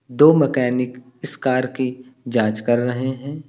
दो मकैनिक इस कार की जांच कर रहे हैं।